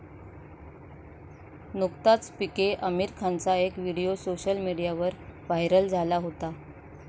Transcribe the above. नुकताच पीके आमिर खानचा एक व्हिडीओ सोशल मीडियावर व्हायरल झाला होता.